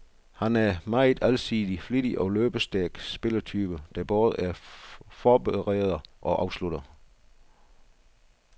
Han er en meget alsidig, flittig og løbestærk spillertype, der både er forbereder og afslutter.